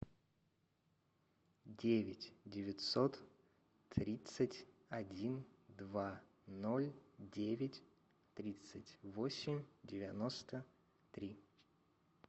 девять девятьсот тридцать один два ноль девять тридцать восемь девяносто три